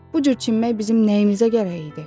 Bu cür çimmək bizim nəyimizə gərək idi?